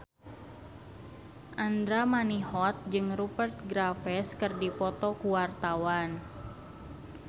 Andra Manihot jeung Rupert Graves keur dipoto ku wartawan